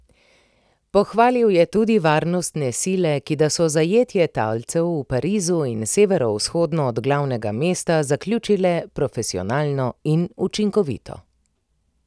Pohvalil je tudi varnostne sile, ki da so zajetje talcev v Parizu in severovzhodno od glavnega mesta zaključile profesionalno in učinkovito.